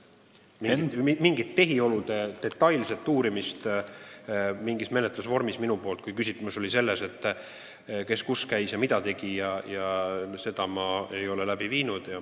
Mingit tehiolude detailset uurimist mingi menetlusvormi osas – kui küsimus on selles, kes kus käis ja mida tegi – ma ei ole läbi viinud.